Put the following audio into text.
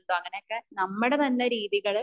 ഉണ്ടോ അങ്ങനൊക്കെ നമ്മുടെ തന്നെ രീതികള്